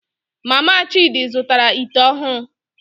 Mama Chidi zụtara ite ọhụrụ